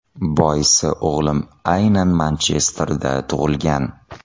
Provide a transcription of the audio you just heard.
Boisi o‘g‘lim aynan Manchesterda tug‘ilgan.